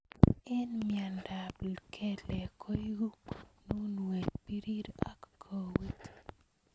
Eng mnyendo ab kelek koeku mununwet birir ak koet.